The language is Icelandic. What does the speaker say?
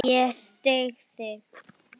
Ég styð þig.